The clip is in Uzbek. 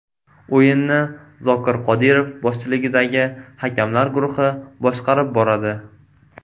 O‘yinni Zokir Qodirov boshchiligidagi hakamlar guruhi boshqarib boradi.